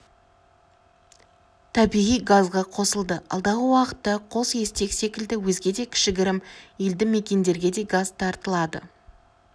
табиғи газға қосылды алдағы уақытта қосестек секілді өзге де кішігірім елді мекендерге де газ тартылады